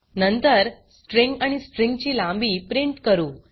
नंतर स्ट्रिँग आणि स्ट्रिँग ची लांबी प्रिंट करू